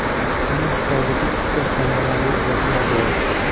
Uning hisobida ikkita samarali uzatma bor.